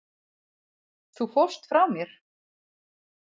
Þú fórst frá mér.